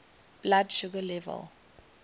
blood sugar level